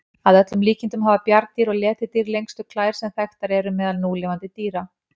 Að öllum líkindum hafa bjarndýr og letidýr lengstu klær sem þekktar eru meðal núlifandi dýra.